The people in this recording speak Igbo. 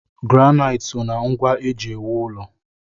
Granait so ná ngwa eji ewu ụlọ.